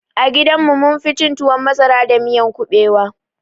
A gidan mu munfi cin tuwon masara da miyan kuɓewa